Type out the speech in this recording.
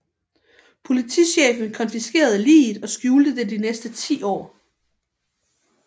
Politichefen konfiskerede liget og skjulte det de næste 10 år